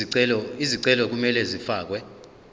izicelo kumele zifakelwe